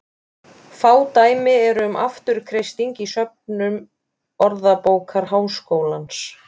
Fá dæmi eru um afturkreisting í söfnum Orðabókar Háskólans.